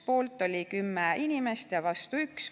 Poolt oli 10 inimest ja vastu 1.